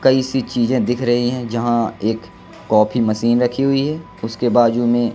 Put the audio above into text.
कई सी चीजे दिख रही है जहां एक कॉफी मशीन रखी हुई है उसके बाजू में--